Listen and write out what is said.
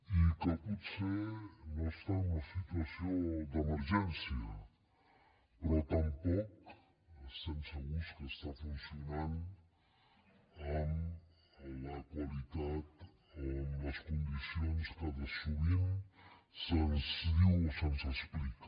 i que potser no està en una situació d’emergència però tampoc estem segurs que estigui funcionant amb la qualitat o en les condicions que sovint se’ns diu o se’ns explica